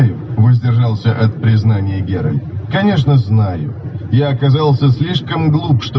воздержался от признания геральт конечно знаю я оказался слишком глуп что